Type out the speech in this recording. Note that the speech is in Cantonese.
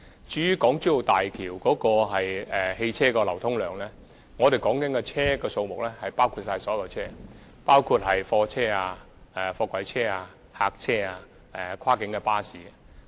至於大橋的車輛流量，我們所說的汽車數目已涵蓋所有車輛，包括貨車、貨櫃車、客貨車、跨境巴士。